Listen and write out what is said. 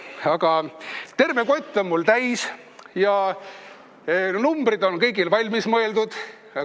Aga terve kott on mul täis ja numbrid on kõigil valmis mõeldud.